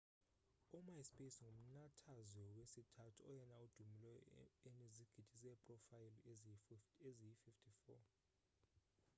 u-myspace ngumnathazwe wesithathu oyena udumileyo enizigidi zeeprofayile eziyi-54